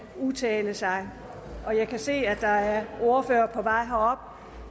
udtale sig jeg kan se at der er ordførere